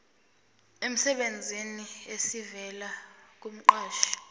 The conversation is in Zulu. emsebenzini esivela kumqashi